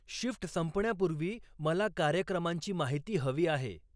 shift संपण्यापूर्वी मला कार्यक्रमांची माहिती हवी आहे